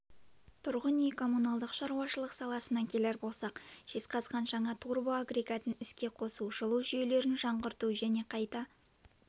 тұрғын үй-коммуналдық шаруашылық саласына келер болсақ жезқазған жаңа турбоагрегатын іске қосу жылу жүйелерін жаңғырту және қайта